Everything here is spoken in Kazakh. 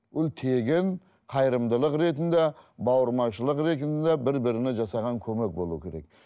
ол тегін қайырымдылық ретінде бауырмашылық ретінде бір біріне жасаған көмек болу керек